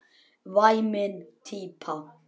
Væmin típa.